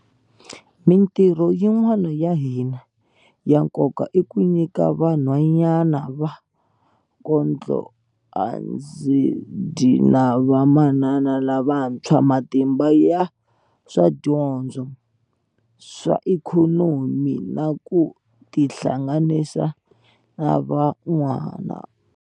Mitirho yin'wana ya hina ya nkoka i ku nyika vanhwanyana va kondlo andzi dyi na vamanana lavantshwa matimba ya swa dyondzo, swa ikhonomi na ku tihlanganisa na vanhu van'wana.